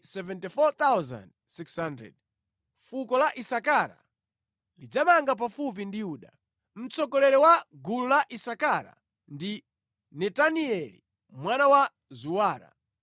Fuko la Isakara lidzamanga pafupi ndi Yuda. Mtsogoleri wa gulu la Isakara ndi Netanieli mwana wa Zuwara.